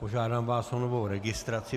Požádám vás o novou registraci.